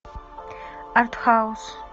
артхаус